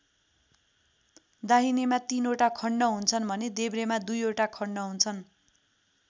दाहिनेमा ३ वटा खण्ड हुन्छन् भने देब्रेमा २ वटा खण्ड हुन्छन्।